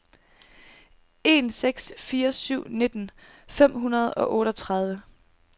en seks fire syv nitten fem hundrede og otteogtredive